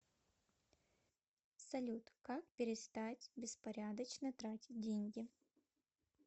салют как перестать беспорядочно тратить деньги